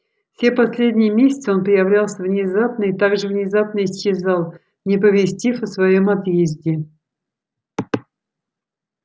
все последние месяцы он появлялся внезапно и так же внезапно исчезал не оповестив о своём отъезде